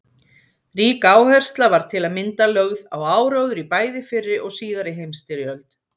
Rík áhersla var til að mynda lögð á áróður í bæði fyrri og síðari heimsstyrjöld.